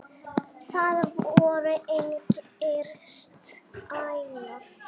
Það voru engir stælar.